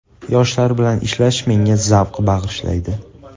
Yoshlar bilan ishlash menga zavq bag‘ishlaydi.